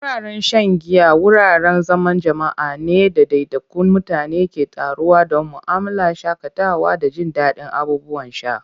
Wuraren shan giya wuraren zaman jama'a ne inda ɗaiɗaikun mutane ke taruwa don mu'amala, shakatawa, da jin daɗin abubuwan sha.